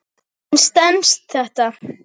En stenst þetta?